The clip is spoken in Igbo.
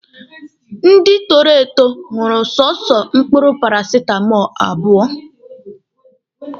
Ndị toro eto ṅụrụ soso mkpụrụ parasitamọlụ abụọ